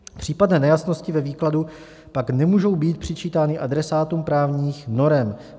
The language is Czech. Případné nejasnosti ve výkladu pak nemůžou být přičítány adresátům právních norem.